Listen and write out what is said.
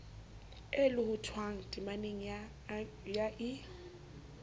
e lohothwang temaneng ya i